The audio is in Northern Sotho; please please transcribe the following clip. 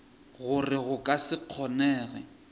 gore go ka se kgonege